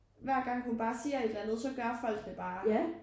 Hver gang hun bare siger et eller andet så gør folk det bare